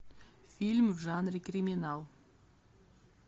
фильм в жанре криминал